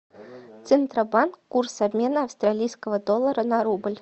центробанк курс обмена австралийского доллара на рубль